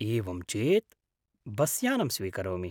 एवं चेत्, बस्यानं स्वीकरोमि।